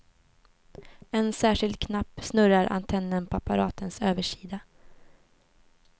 En särskild knapp snurrar antennen på apparatens översida.